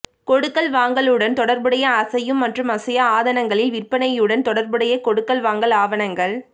கொடுக்கல் வாங்கல்களுடன் தொடர்புடைய அசையும் மற்றும் அசையா ஆதனங்களின் விற்பனையுடன் தொடர்புடைய கொடுக்கல் வாங்கல் ஆவணங்கள்